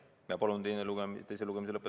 Palun teise lugemise lõpetamist toetada!